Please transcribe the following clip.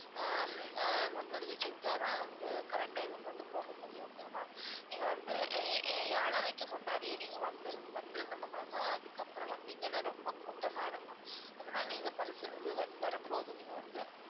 ஆஹ் hmm ah முன்பதிவு செஞ்சாதான் வந்து correct time க்கு வந்து போக முடியும் okay வா ma'am நீங்க வந்து ஏ~ ஏழரைக்கு முன்னாடியே நீங்க வந்து~ வந்துருங்க ma'am ஏன்னா அதுக்கப்புறம் வந்தீங்கன்னா ரொம்ப கூட்டமா இருக்கும் அதனால நீங்க வரும்போது நீங்க வந்து